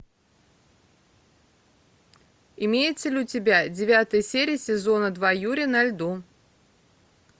имеется ли у тебя девятая серия сезона два юри на льду